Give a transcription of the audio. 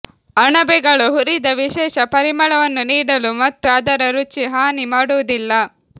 ಅಣಬೆಗಳು ಹುರಿದ ವಿಶೇಷ ಪರಿಮಳವನ್ನು ನೀಡಲು ಮತ್ತು ಅದರ ರುಚಿ ಹಾನಿ ಮಾಡುವುದಿಲ್ಲ